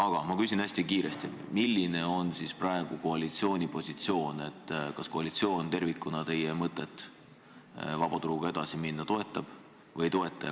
Aga ma küsin hästi kiiresti: milline on praegu koalitsiooni positsioon, kas koalitsioon tervikuna teie mõtet vaba turuga edasi minna toetab või ei toeta?